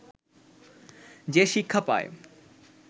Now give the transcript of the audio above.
যে শিক্ষা পায়